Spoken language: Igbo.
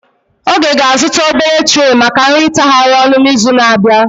Oge ga-azụta obere treh maka nri itahari ọnu n'izu na-abịa.